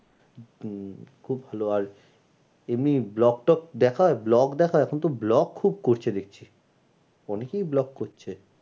উম খুব ভালো আর এমনি blog টক দেখা blog দেখা এখন তো blog খুব করছে দেখছি অনেকেই blog করছে।